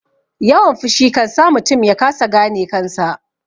Yawan fushi kansa mutum yakasa gane kansa